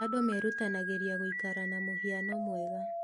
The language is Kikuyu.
Andũ merutanagĩria gũikara na mũhiano mwega.